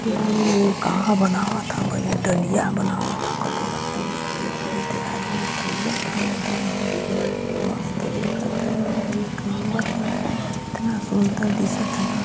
ये का बनावत हे भाई दलिया बानावत हे कटोरा मे एक किलो रजमी तौलथे आदमी मस्त दिखथे एक नंबर इतना सुंदर दिस थे ना।